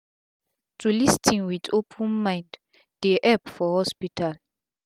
to lis ten with open mind dey epp for hospital